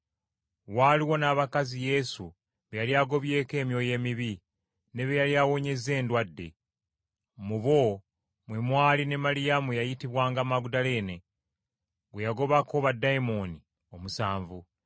Waaliwo n’abakazi Yesu be yali agobyeko emyoyo emibi ne be yali awonyezza endwadde. Mu bo mwe mwali ne Maliyamu eyayitibwanga Magudaleene gwe yagobako baddayimooni omusanvu,